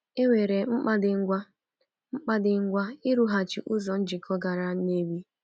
E nwere mkpa dị ngwa mkpa dị ngwa ịrụghachi ụzọ njikọ gara Nnewi.